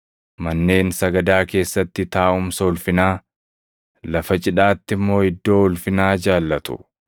manneen sagadaa keessatti taaʼumsa ulfinaa, lafa cidhaatti immoo iddoo ulfinaa jaallatu.